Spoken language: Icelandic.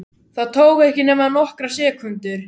Það tók ekki nema nokkrar sekúndur.